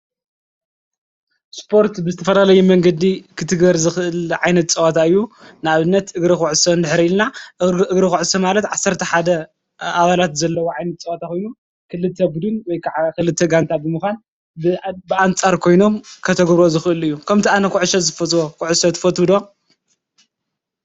ስፖርት ብዝተፈላለየ መንገዲ ኽትግር ዝኽል ዓይነት ጸዋታ እዩ። ንኣብነት እግሪ ዂዕሰ እንድሕር ኢልና እግሪ ዂዐሰ ማለት ዓሰርተ ሓደ ኣባላት ዘለዉ ዓይነት ጸዋታ ኮይኑ ክልተ ቡድን ወይ ከዓ ኽልተ ጋንታ ብምዃን ብኣንጻር ኮይኖም ከተግብርዎ ዝኽእሉ እዩ። ከምቲ ኣነ ዂዕሰ ዝፈትዎ ኩዕሶ ትፈትዉ ዶ?